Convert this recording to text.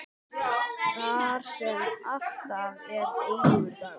Þar sem alltaf er eilífur dagur.